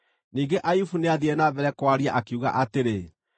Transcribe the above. Ningĩ Ayubu nĩathiire na mbere kwaria, akiuga atĩrĩ: